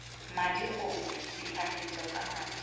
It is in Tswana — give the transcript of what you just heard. madi gongwe ditlhagiswa tsa madi